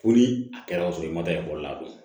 Fo ni a kɛra ka sɔrɔ i ma taa ekɔli la bilen